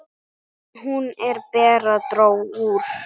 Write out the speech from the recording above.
Hún, Bera, dró úr.